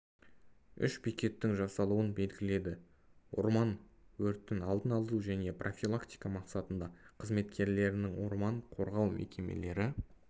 үш бекеттің жасалуын белгіледі орман өртін алдын алу және профилактика мақсатында қызметкерлерінің орман қорғау мекемелері